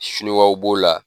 Sinuwaw b'o la.